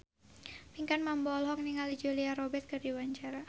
Pinkan Mambo olohok ningali Julia Robert keur diwawancara